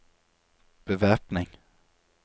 bevæpning